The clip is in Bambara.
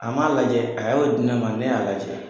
A m'a lajɛ a y'o di ne ma ne y'a lajɛ.